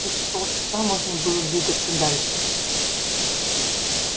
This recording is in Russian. через полчаса можно было двигаться дальше